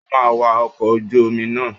O máa wa ọkọ̀ ojú omi náà!